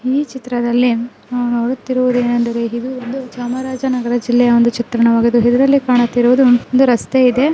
ಈ ಚಿತ್ರದಲ್ಲಿ ನಾವು ನೋಡುತ್ತಿರುವುದು ಏನಂದರೆ ಇದು ಒಂದು ಚಾಮರಾಜನಗರ ಜಿಲ್ಲೆಯ ಒಂದು ಚಿತ್ರಣವಾಗಿದೆ. ಇದರಲ್ಲಿ ಕಾಣುತ್ತಿರುವುದು ಒಂದು ರಸ್ತೆ ಇದೆ.